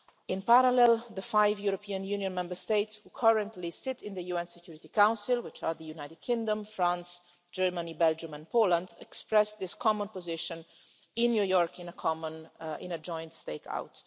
In parallel, the five European Union Member States who currently sit in the UN Security Council, which are the United Kingdom, France, Germany, Belgium and Poland, expressed this common position in New York in a joint stakeout.